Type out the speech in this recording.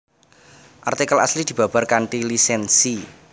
Artikel asli dibabar kanthi lisènsi